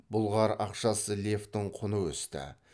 бұлғар ақшасы левтің құны өсті